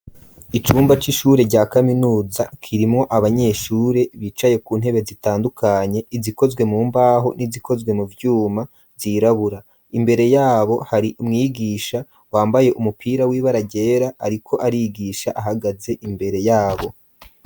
Icumba c'ishure rya kaminuza kirimwo abanyeshure bicaye ku ntebe zitandukanye izikozwe mu mbaho n'izikozwe mu vyuma zirabura, imbere yabo hari mwigisha wambaye umupira w'ibara ryera ariko arigisha ahagaze imbere yabo.